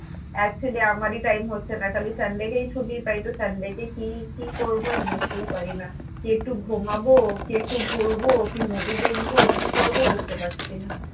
Actually আমারই time হচ্ছে না খালি sunday কেই ছুটি পাই তো sunday কে কি কি করবো ভাই বুঝতেই পারিনা কি একটু ঘুমাবো কি একটু ঘুরবো কি movie দেখবো কি করবো বুঝতে পারছিনা